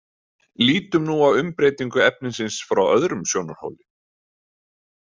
Lítum nú á umbreytingu efnisins frá öðrum sjónarhóli.